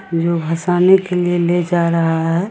जो हसाने के लिए ले जा रहा है।